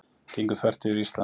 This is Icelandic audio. Gengu þvert yfir Ísland